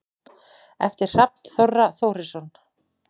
eftir hrafn þorra þórisson